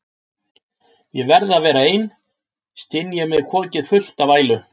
Ég verð að vera ein, styn ég með kokið fullt af ælu.